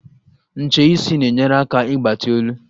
Ncheisi na-enyere aka ịgbati olu.